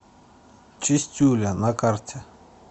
чистюля на карте